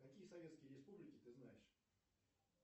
какие советские республики ты знаешь